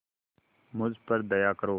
मुझ पर दया करो